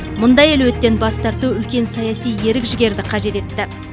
мұндай әлеуеттен бас тарту үлкен саяси ерік жігерді қажет етті